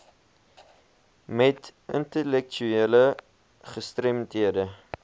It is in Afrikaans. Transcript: met intellektuele gestremdhede